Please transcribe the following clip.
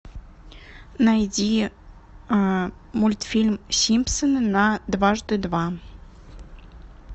найди мультфильм симпсоны на дважды два